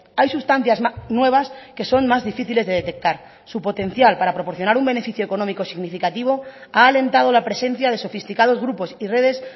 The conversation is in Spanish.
hay sustancias nuevas que son más difíciles de detectar su potencial para proporcionar un beneficio económico significativo ha alentado la presencia de sofisticados grupos y redes